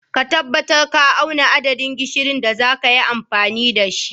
Ka tabbatar ka auna adadin gishirin da zaka yi amfani da shi.